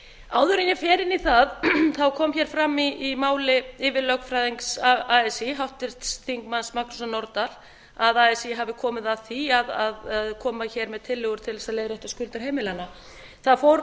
en ég fer inn í það kom hér fram í máli yfirlögfræðings así háttvirtur þingmaður magnúsar norðdahl að así hafi komið að því að koma hér með tillögur til þess að leiðrétta skuldir heimilanna það